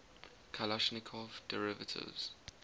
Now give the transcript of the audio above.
kalashnikov derivatives